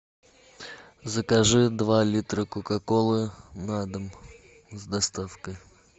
закажи два литра кока колы на дом с доставкой